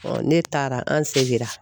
ne taara an segira